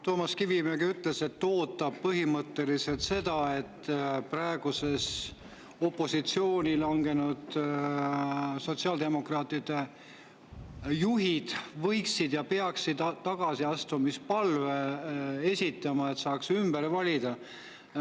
Toomas Kivimägi ütles, et ta ootab põhimõtteliselt seda, et praegu opositsiooni langenud sotsiaaldemokraatidest juhid esitaksid tagasiastumispalve, et saaks valida.